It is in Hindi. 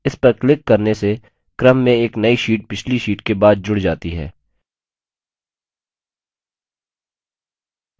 इस पर क्लिक करने से क्रम में एक नई sheet पिछली sheet के बाद जुड़ जाती है